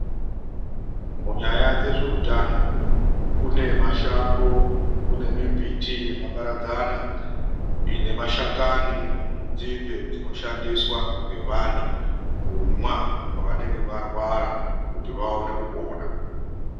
MUNYAYA DZEZVEUTANO KUNE MASHANGO ,KUNE MIMBITI YAKAPARADZANA INEMASHAKANI ,INENZINDE INOSHANDISWA NGEVANTU KUMWA PAVANENGE VARWARA KUTI VAONE KUPENA.